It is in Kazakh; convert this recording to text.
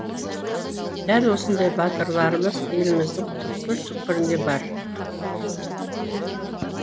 дәл осындай батырларымыз еліміздің түкпір түкпірінде бар